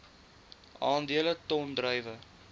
aandele ton druiwe